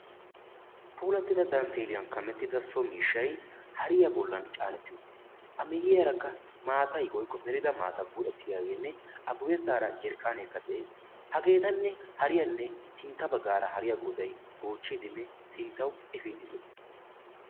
Puulatida dantteliyan kamettida so miishshay hariya bollan caaneti uttiis. ha miyyiyaarakka maata woykko melida maatay buccetidaagenne a guyyeesara jarkkanee de'ees. hagetanne hariyanne sintta baggaara hariya goday gochchiddinne sinttawu efiide dees.